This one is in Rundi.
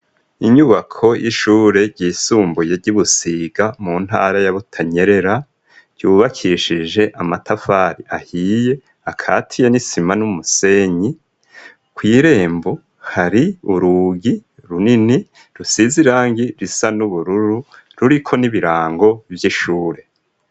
Inyubako y'ishure ryisumbuye ry'i Busiga mu ntara ya Butanyerera, ryubakishije amatafari ahiye, akatiye n'isima n'umusenyi, kw'irembo hari urugi runini rusize irangi risa n'ubururu, ruriko n'ibirango vy'ishure.